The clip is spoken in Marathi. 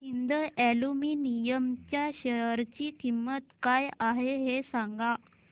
हिंद अॅल्युमिनियम च्या शेअर ची किंमत काय आहे हे सांगा